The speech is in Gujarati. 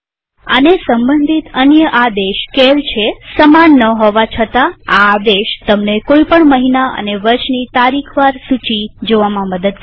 આને સંબંધિત અન્ય આદેશ સીએએલ છેસમાન ન હોવા છતા આ આદેશ તમને કોઈ પણ મહિના અને વર્ષની તારીખ વાર સૂચીકેલેન્ડર જોવામાં મદદ કરે છે